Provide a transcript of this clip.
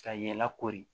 Ka ye lakori